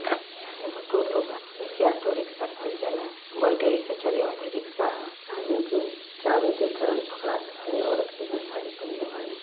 एगो टोटो बा एके ऑटो रिक्शा कहल जाला बैटरी से चले वाला रिक्शा ह आ इनके चाभी देके औरत के जॉन साड़ी पहिनले बाड़ी।